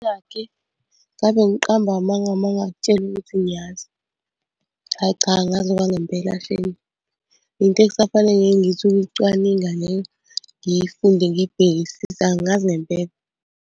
Ngabe ngiqamba amanga uma ngingakutshela ukuthi ngiyazi. Ayi cha, angazi okwangempela shame. Yinto okusafanele ngithi ukuyicwaninga leyo ngiyifunde ngiyibhekisise angazi ngempela.